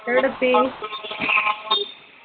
എവിട എത്തി